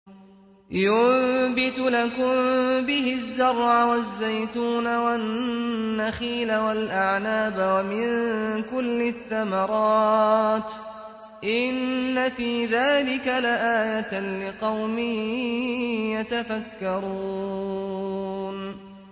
يُنبِتُ لَكُم بِهِ الزَّرْعَ وَالزَّيْتُونَ وَالنَّخِيلَ وَالْأَعْنَابَ وَمِن كُلِّ الثَّمَرَاتِ ۗ إِنَّ فِي ذَٰلِكَ لَآيَةً لِّقَوْمٍ يَتَفَكَّرُونَ